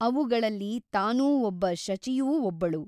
ಅವುಗಳಲ್ಲಿ ತಾನೂ ಒಬ್ಬ ಶಚಿಯೂ ಒಬ್ಬಳು.